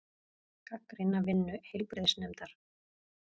Gagnrýna vinnu heilbrigðisnefndar